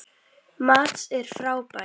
Mads er frábær.